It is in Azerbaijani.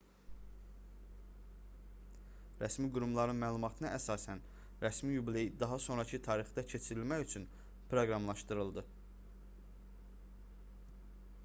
rəsmi qurumların məlumatına əsasən rəsmi yubiley daha sonrakı tarixdə keçirilmək üçün proqramlaşdırıldı